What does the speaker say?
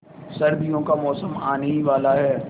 सर्दियों का मौसम आने ही वाला है